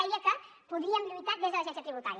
deia que podríem lluitar des de l’agència tributària